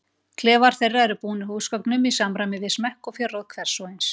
Klefar þeirra eru búnir húsgögnum í samræmi við smekk og fjárráð hvers og eins.